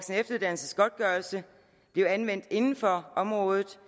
efteruddannelsesgodtgørelsen blive anvendt inden for området